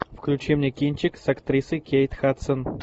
включи мне кинчик с актрисой кейт хадсон